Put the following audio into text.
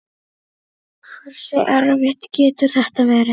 Hversu erfitt getur þetta verið?